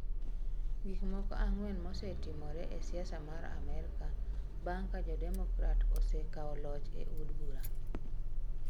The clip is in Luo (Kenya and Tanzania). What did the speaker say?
Gik moko ang'wen mosetimore e siasa mar Amerka bang ' ka jo Democrat osekawo loch e Od Bura.